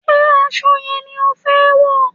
Ṣé aṣọ yẹn ni o fẹ wọ̀?